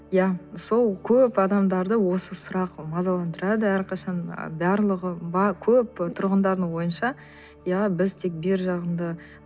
иә сол көп адамдарды осы сұрақ мазаландырады әрқашан ы барлығы көп тұрғындардың ойынша иә біз тек бергі жағында